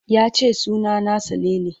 Ya ce suna na Salele.